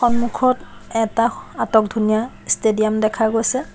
সন্মুখত এটা আটক ধুনীয়া ষ্টেডিয়াম দেখা গৈছে।